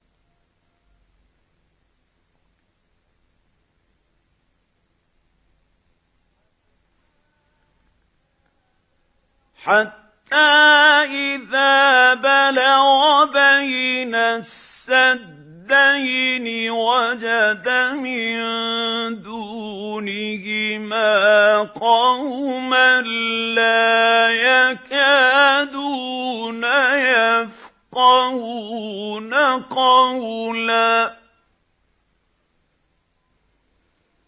حَتَّىٰ إِذَا بَلَغَ بَيْنَ السَّدَّيْنِ وَجَدَ مِن دُونِهِمَا قَوْمًا لَّا يَكَادُونَ يَفْقَهُونَ قَوْلًا